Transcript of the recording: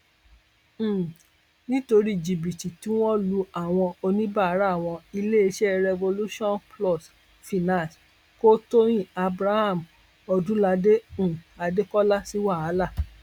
um nítorí jìbìtì tí wọn lu àwọn oníbàárà wọn iléeṣẹ revolutionplus finance kò tóyin abraham ọdúnládé um adékọlá sí wàhálà